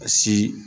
A si